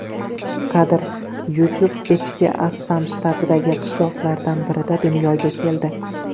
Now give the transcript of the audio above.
Kadr: YouTube Echki Assam shtatidagi qishloqlardan birida dunyoga keldi.